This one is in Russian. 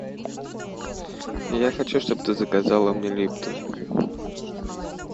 я хочу чтобы ты заказала мне липтон